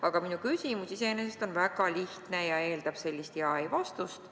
Aga minu küsimus iseenesest on väga lihtne ja eeldab sellist jah- või ei-vastust.